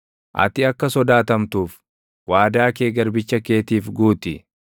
Ati akka sodaatamtuuf, waadaa kee garbicha keetiif guuti.